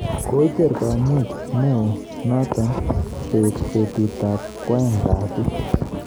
Koicher kamuet neo noto beet betut ab kwaeng kasi